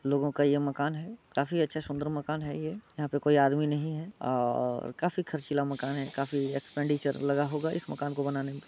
लोगों का ये मकान है काफी अच्छा सुंदर मकान है ये यहाँ पे कोई आदमी नही है अ और काफी खर्चीला मकान है काफी एक्सपेंडिचर लगा होगा इस मकान को बनाने में।